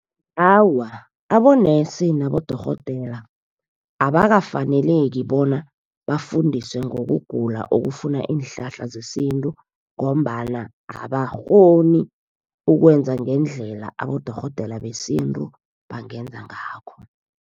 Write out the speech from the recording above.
Awa, abonesi nabodorhodera abakafaneleki bona bafundiswe ngokugula okufuna iinhlahla zesintu, ngombana abakghoni ukwenza ngendlela abodorhodera besintu bangenza ngakho.